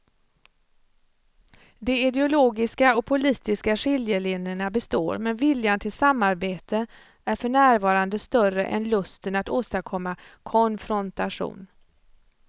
De ideologiska och politiska skiljelinjerna består men viljan till samarbete är för närvarande större än lusten att åstadkomma konfrontation.